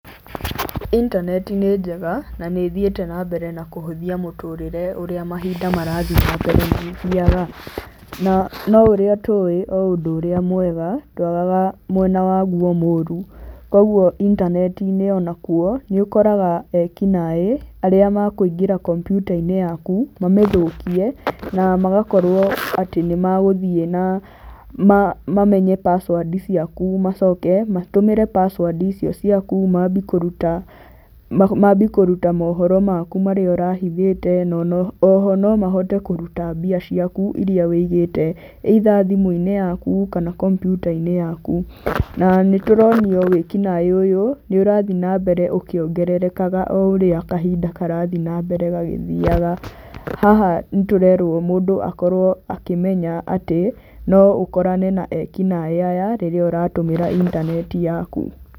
Intaneti nĩ njega na nĩ ĩthiĩte nambere na kũhũthia mũtũrĩre ũrĩa mahinda marathi nambere magĩthiaga. Na no ũrĩa tũĩ, o ũndũ ũrĩa mwega ndwagaga mwena waguo mũru koguo intaneti-ini ona kuo nĩ ũkoraga ekinaĩ arĩa makũingĩra kompiuta-inĩ yaku, mamĩthũkie na magakorwo atĩ nĩ magũthiĩ na mamenye password ciaku, macoke matũmĩre password icio ciaku, mambi kũruta, mambi kũruta mohoro maku marĩa ũrahithĩte na oho no mahote kũruta mbia ciaku iria ũigĩte either thimũ-inĩ yaku kana kompiuta-inĩ yaku. Na nĩtũronio wĩkinaĩ ũyũ nĩ ũrathi na mbere ũkĩongererekaga o ũrĩa kahinda karathi nambere gagĩthiaga. Haha nĩ tũrerwo mũndũ akorwo akĩmenya atĩ no ũkorane na ekinaĩ aya rĩrĩa ũratũmĩra intaneti yaku.